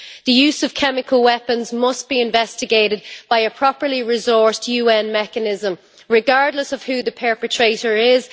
The use of chemical weapons must be investigated by a properly resourced UN mechanism, regardless of who the perpetrator is.